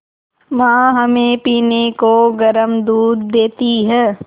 माँ हमें पीने को गर्म दूध देती हैं